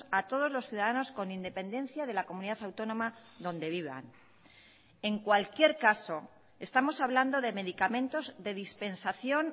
a todos los ciudadanos con independencia de la comunidad autónoma donde vivan en cualquier caso estamos hablando de medicamentos de dispensación